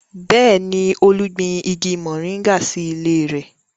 Bẹ́ẹ̀ni, Olú gbin igi moringa sí ilé rẹ̀